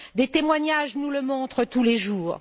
Les témoignages nous le montrent tous les jours.